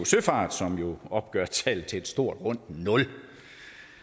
søfart som jo opgør tallet til et stort rundt nul det er